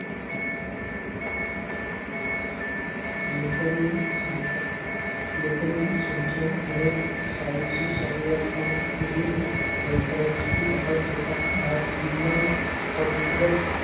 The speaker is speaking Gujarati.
લેખોની સંખ્યા લેખોની સંખ્યા અને size ની શરૂઆતમાં રહી પરંતુ એ વખત જતાં વિજ્ઞાન સમુદ્ર,